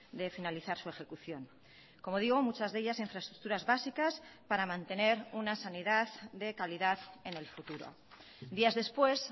de finalizar su ejecución como digo muchas de ellas infraestructuras básicas para mantener una sanidad de calidad en el futuro días después